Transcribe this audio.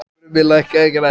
Krummi, lækkaðu í græjunum.